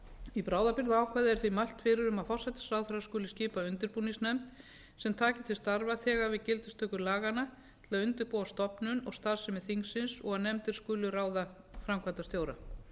í bráðabirgðaákvæði er því mælt fyrir um að forsætisráðherra skuli skipa undirbúningsnefnd sem taki til starfa þegar við gildistöku laganna til að undirbúa stofnun og starfsemi þingsins og að nefndin skuli ráða framkvæmdastjóra